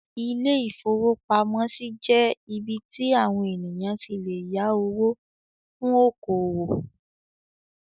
Ilé-ìfowópamọ́sí jẹ́ ibí tí àwon ènìyàn tí lè yá owó fún oko-òwò